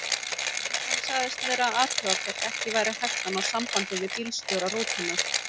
Lögreglan sagðist vera að athuga hvort ekki væri hægt að ná sambandi við bílstjóra rútunnar.